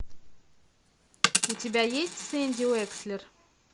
у тебя есть сэнди уэкслер